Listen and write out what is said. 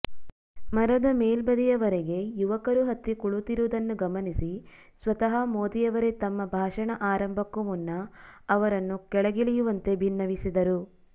ಮರದ ಮೇಲ್ಬದಿಯವರೆಗೆ ಯುವಕರು ಹತ್ತಿ ಕುಳಿತಿರುವುದನ್ನು ಗಮನಿಸಿ ಸ್ವತಃ ಮೋದಿಯವರೇ ತಮ್ಮ ಭಾಷಣ ಆರಂಭಕ್ಕೂ ಮುನ್ನ ಅವರನ್ನು ಕೆಳಗಿಳಿಯುವಂತೆ ಭಿನ್ನವಿಸಿದರು